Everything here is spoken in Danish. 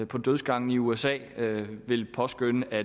på dødsgangen i usa vil påskønne at